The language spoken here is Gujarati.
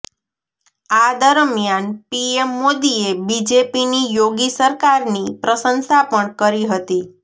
આ દરમ્યાન પીએમ મોદીએ બીજેપીની યોગી સરકારની પ્રશંસા પણ કરી હતી